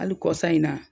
Hali kɔsa in na